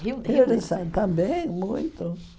também, muito.